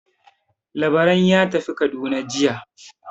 Labaran ya tafi Kaduna jiya.